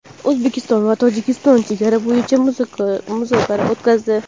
O‘zbekiston va Tojikiston chegara bo‘yicha muzokara o‘tkazdi.